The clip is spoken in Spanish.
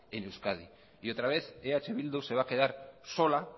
en euskadi y otra vez eh bildu se va a quedar sola